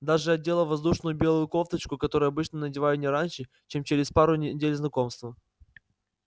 даже одела воздушную белую кофточку которую обычно надеваю не раньше чем через пару недель знакомства